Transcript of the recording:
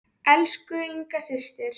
Elsku Inga systir.